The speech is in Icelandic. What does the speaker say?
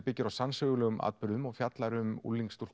byggð á sannsögulegum atburðum og fjallar um